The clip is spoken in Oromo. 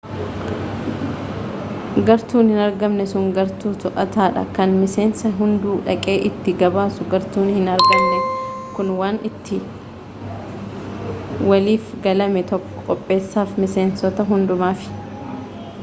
gartuun hin argamne sun gartuu to'ata dha kan miseensi hunduu dhaqee itti gabaasu gartuun hin argamne kun waan itti waliif galame tokko qopheessafi miseensota hundumaaf